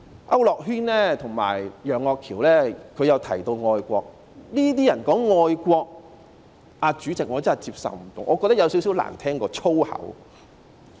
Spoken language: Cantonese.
區諾軒議員和楊岳橋議員均提到愛國，這些人說愛國，主席，我真的不能接受，我覺得有點兒較粗口更難聽。